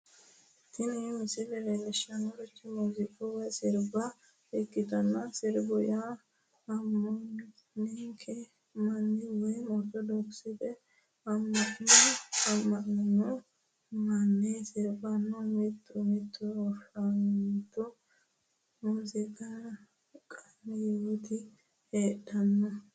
tini misile leellishshannorichi muuziiqa woy sirbaano ikkitanna sirbu yaa ammaninokki manni woy ortodokisete amma'no ammanino manni sirbannoho mitu mitu afantino muuziiqanyooti heedhanno.